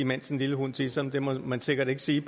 mens en lille hund tisser det må man sikkert ikke sige